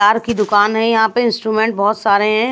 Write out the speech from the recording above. Car की दुकान है यहां पे इंस्ट्रूमेंट बहुत सारे हैं।